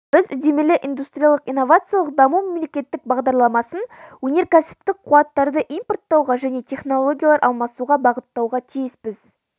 біз үдемелі индустриялық-инновациялық даму мемлекеттік бағдарламасын өнеркәсіптік қуаттарды импорттауға және технологиялар алмасуға бағыттауға тиіспіз